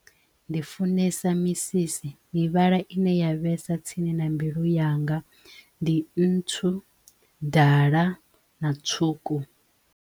Ndi funesa misisi mivhala ine ya vhesa tsini na mbilu yanga ndi ntsu, dala na tswuku.